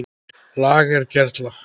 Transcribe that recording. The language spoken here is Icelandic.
LAGER GERLA